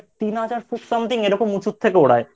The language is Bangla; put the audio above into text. তিন হাজার ফুট Something এরকম উঁচুর থেকে ওড়ায়।